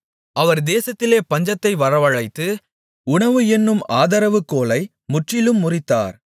அவர் தேசத்திலே பஞ்சத்தை வரவழைத்து உணவு என்னும் ஆதரவுகோலை முற்றிலும் முறித்தார்